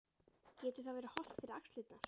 Getur það verið hollt fyrir axlirnar?